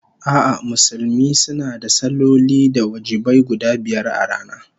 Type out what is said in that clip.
A'a, Musulmi suna da salloli na wajibai guda biyar a rana